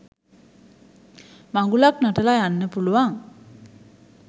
මඟුලක් නටල යන්න පුළුවන්